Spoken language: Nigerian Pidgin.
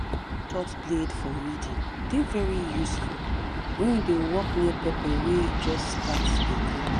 that short blade for weeding dey very useful when you dey work near pepper wey just start de grow